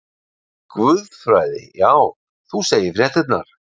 Guðfræði já, þú segir fréttirnar!